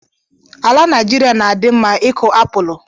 Ala Naijiria na-adị mma ịkụ apụlụ